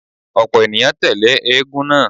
Ọ̀pọ̀ ènìyàn tẹ́lẹ̀ eégún náà.